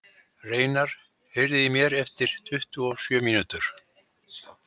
Reynarð, heyrðu í mér eftir tuttugu og sjö mínútur.